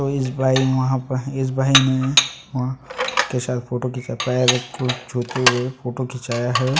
To इस बाई वहाँ प इस भाई वा के साथ फोटो खिंचा पायेगा कु छुते हुए फोटो खिंचाया हैं।